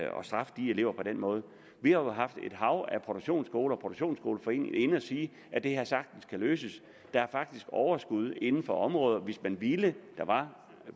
straffe de elever på den måde vi har haft et hav af produktionsskoler og produktionsskoleforeningen inde at sige at det her sagtens kan løses der er faktisk overskud inden for området hvis man ville og der